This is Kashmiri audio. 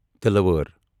تلِوأر